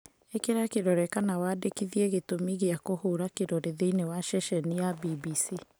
Īkĩra kĩrore kana wandĩkithie gĩtũmi gĩa kũhũra kĩrore thĩinĩ wa ceceni ya BBC